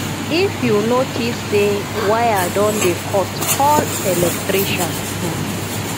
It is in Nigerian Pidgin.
if you notice sey wire don dey cut call electrician